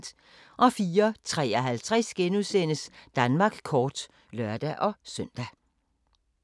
04:53: Danmark kort *(lør-søn)